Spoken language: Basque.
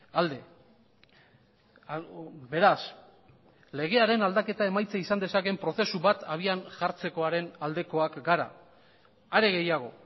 alde beraz legearen aldaketa emaitza izan dezakeen prozesu bat habian jartzekoaren aldekoak gara are gehiago